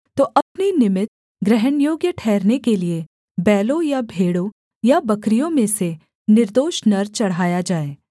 तो अपने निमित्त ग्रहणयोग्य ठहरने के लिये बैलों या भेड़ों या बकरियों में से निर्दोष नर चढ़ाया जाए